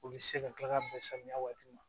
U bɛ se ka kila ka bɛn samiya waati ma